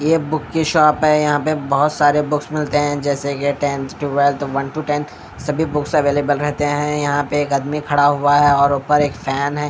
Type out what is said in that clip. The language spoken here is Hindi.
ये बुक की शॉप है यहां पे बहोत सारे बुक्स मिलते हैं जैसे के tenth twelfth one two tenth सभी बुक्स अवेलेबल रहते हैं यहां पे एक आदमी खड़ा हुआ है और ऊपर एक फैन है।